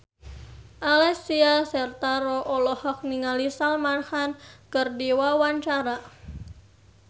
Alessia Cestaro olohok ningali Salman Khan keur diwawancara